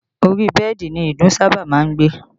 Ori bẹ́ẹ̀dì ni ìdun sábà máa ń gbé